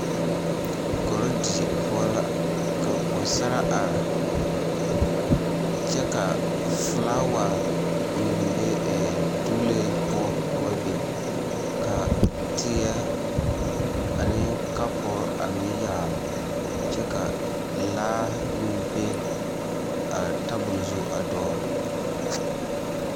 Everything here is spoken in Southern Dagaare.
Korodie poɔ la ka pɔgesaraa are kyɛ ka felaawa meŋ be doolee poɔ ka ba biŋ ka teɛ ane kapuri a meŋ yaare kyɛ ka laa meŋ be a tabol zu a dɔɔle.